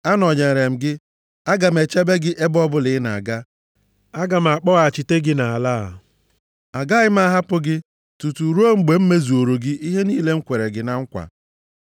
Anọnyeere m gị. Aga m echebe gị ebe ọbụla ị na-aga. Aga m akpọghachite gị nʼala a. Agaghị m ahapụ gị tutu ruo mgbe m mezuoro gị ihe niile m kwere gị na nkwa.”